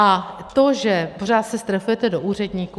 A to, že se pořád strefujete do úředníků...